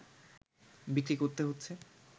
বিক্রি করতে হচ্ছে